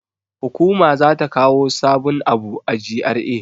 Hukuma za ta kawo sabun abu a GRA.